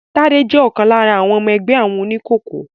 Tádé jẹ́ ọ̀kan lára àwọn ọmọ ẹgbẹ́ àwọn oníkòkó